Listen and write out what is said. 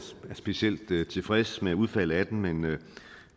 er specielt tilfreds med udfaldet af den men